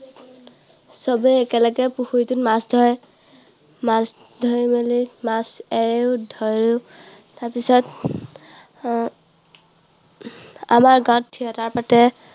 সবে একেলগে পুখুৰীটোত মাছ ধৰে। মাছ ধৰিবলৈ, মাছ এৰেও, ধৰেও। তাৰপিছত আহ আমাৰ গাঁৱত theatre পাতে।